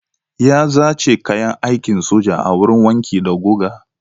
Ya zace kayan aikin soja a wurin wanki da guga.